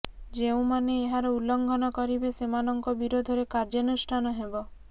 ଯେଉଁମାନେ ଏହାର ଉଲ୍ଲଂଘନ କରିବେ ସେମାନଙ୍କ ବିରୋଧରେ କାର୍ଯ୍ୟାନୁଷ୍ଠାନ ହେବ